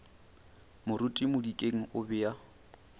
moruti modikeng o be a